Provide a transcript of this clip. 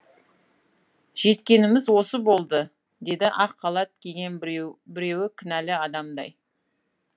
жеткеніміз осы болды деді ақ халат киген біреуі кінәлі адамдай